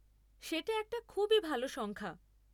সেটা একটা খুবই ভাল সংখ্যা!